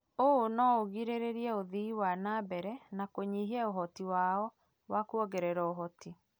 ũũ no ũgirĩrĩrie ũthii wa na mbere na kũnyihia ũhoti wao wa kuongerera ũhoti.